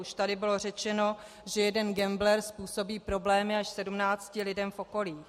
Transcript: Už tady bylo řečeno, že jeden gambler způsobí problémy až sedmnácti lidem v okolí.